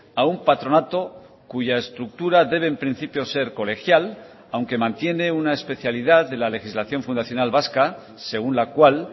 a un patronato cuya estructura debe en principio ser colegial aunque mantiene una especialidad de la legislación fundacional vasca según la cual